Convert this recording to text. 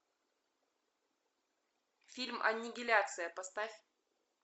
фильм аннигиляция поставь